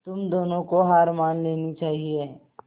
तुम दोनों को हार मान लेनी चाहियें